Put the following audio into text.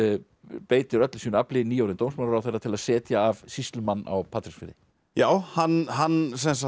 beitir öllu sínu afli nýorðinn dómsmálaráðherra til að setja af sýslumann á Patreksfirði já hann hann